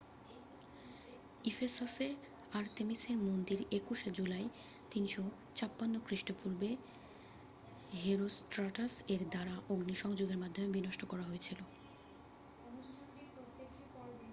ইফেসাসে আর্তেমিসের মন্দির 21 শে জুলাই 356 খৃষ্টপূর্বে হেরোস্ট্রাটাস এর দ্বারা অগ্নিসংযোগের মাধ্যমে বিনষ্ট করা হয়েছিল